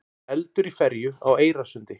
Eldur í ferju á Eyrarsundi